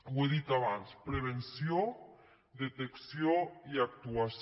ho he dit abans prevenció detecció i actuació